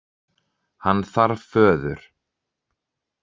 Hann þarf föður.